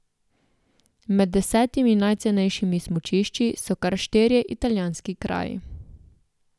Med desetimi najcenejšimi smučišči so kar štirje italijanski kraji.